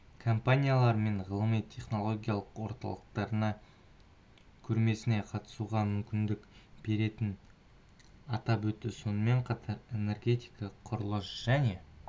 компаниялар мен ғылыми-технологиялық орталықтарына көрмесіне қатысуға мүмкіндік беретінін атап өтті сонымен қатар энергетика құрылыс және